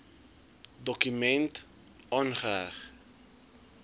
dokument aangeheg